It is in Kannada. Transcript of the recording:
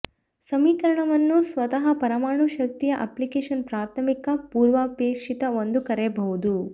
ಸಮೀಕರಣವನ್ನು ಸ್ವತಃ ಪರಮಾಣು ಶಕ್ತಿಯ ಅಪ್ಲಿಕೇಶನ್ ಪ್ರಾಥಮಿಕ ಪೂರ್ವಾಪೇಕ್ಷಿತ ಒಂದು ಕರೆಯಬಹುದು